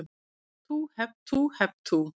Hep tú, hep tú, hep tú.